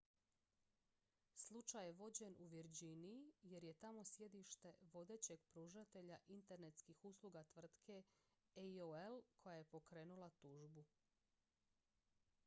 slučaj je vođen u virginiji jer je tamo sjedište vodećeg pružatelja internetskih usluga tvrtke aol koja je pokrenula tužbu